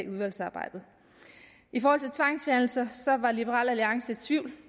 udvalgsarbejdet i forhold til tvangsfjernelser var liberal alliance i tvivl